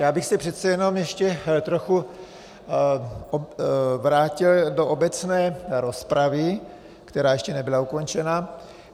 Já bych se přece jenom ještě trochu vrátil do obecné rozpravy, která ještě nebyla ukončena.